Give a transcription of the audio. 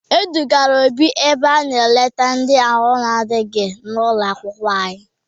E dugara Obi ebe a na-eleta ndị ahụ adịghị n'ụlọ akwụkwọ anyị.